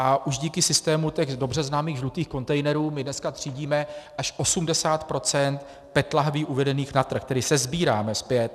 A už díky systému těch dobře známých žlutých kontejnerů my dneska třídíme až 80 % PET lahví uvedených na trh, tedy sesbíráme zpět.